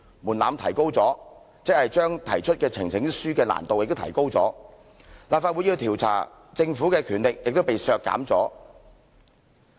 門檻提高即是將提交呈請書的難度提高，立法會要調查政府的權力亦被削減。